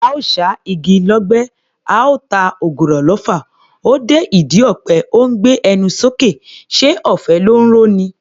Oò ṣá igi lọ́gbẹ́, oò ta ògùrọ̀ lọfà, o dé ìdí ọ̀pẹ o ńgbé ẹnu sókè; ṣé ọ̀fẹ́ ló ńro ni?